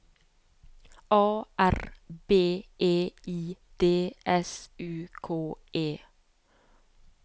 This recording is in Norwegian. A R B E I D S U K E